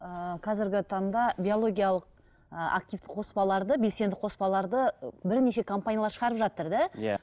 ыыы қазіргі таңда биологиялық ыыы активтік қоспаларды белсенді қоспаларды бірнеше компаниялар шығарып жатыр да иә